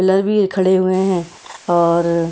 pillar भी खड़े हुए हैं और--